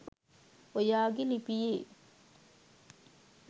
ඔයාගේ ලිපියේ.